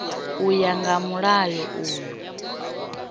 u ya nga mulayo uyu